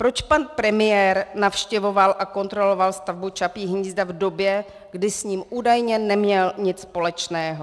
Proč pan premiér navštěvoval a kontroloval stavbu Čapího hnízda v době, kdy s ním údajně neměl nic společného?